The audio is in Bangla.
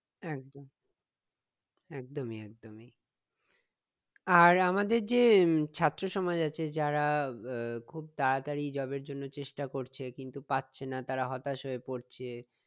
একদম একদমই একদমই আর আমাদের যে উম ছাত্র সমাজ আছে যারা আহ খুব তাড়াতাড়ি job এর জন্য চেষ্টা করছে কিন্তু তারা পাচ্ছে না হতাশ হয়ে পড়ছে